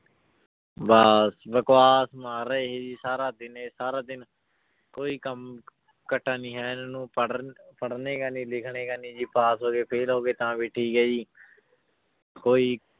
ਬਸ ਬਕਵਾਸ ਮਾਰ ਰਿਹਾ ਜੀ ਸਾਰਾ ਦਿਨ ਇਹ ਸਾਰਾ ਦਿਨ ਕੋਈ ਕੰਮ ਕੱਟਾ ਨੀ ਹੈ ਇਹਨਾਂ ਨੂੰ ਪੜ੍ਹਨ ਪੜ੍ਹਨੇ ਕਾ ਨੀ ਲਿਖਣੇ ਕਾ ਨੀ ਜੀ ਪਾਸ ਹੋ ਗਏ fail ਹੋ ਗਏ ਤਾਂ ਵੀ ਠੀਕ ਹੈ ਜੀ ਕੋਈ